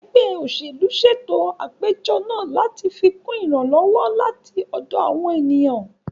Ẹgbẹ́ òṣèlú ṣètò àpéjọ náà láti fikún ìrànlọ́wọ́ láti ọ̀dọ̀ àwọn ènìyàn